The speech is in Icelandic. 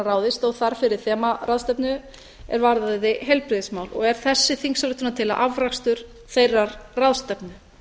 ráðið stóð þar fyrir þemaráðstefnu er varðaði heilbrigðismál og er þessi þingsályktunartillaga afrakstur þeirrar ráðstefnu